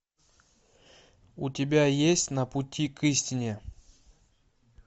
у тебя есть на пути к истине